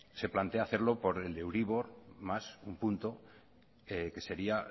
se plantea hacerlo por el de euribor más uno punto que sería